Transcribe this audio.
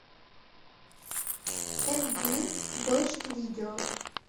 эмди дождь видео